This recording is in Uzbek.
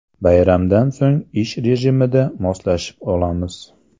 Bayramdan so‘ng ish rejimiga moslashib olamiz.